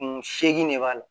Kun seegin de b'a la